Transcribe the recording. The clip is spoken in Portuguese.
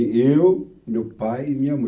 e eu, meu pai e minha mãe.